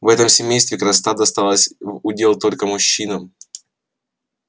в этом семействе красота досталась в удел только мужчинам